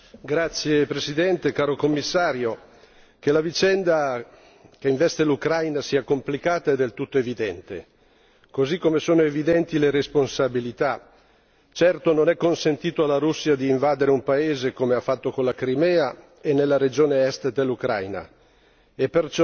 Signor Presidente, onorevoli colleghi, Commissario, che la vicenda che investe l'Ucraina sia complicata è del tutto evidente, così come sono evidenti le responsabilità. Certo, non è consentito alla Russia invadere un paese, come ha fatto con la Crimea e nella regione Est dell'Ucraina,